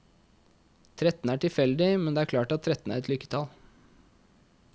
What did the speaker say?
Tretten er tilfeldigt, men det er klart at tretten er et lykketall.